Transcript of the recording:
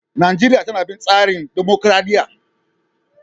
Najeriya tana bin tsarin dumukuradiyya.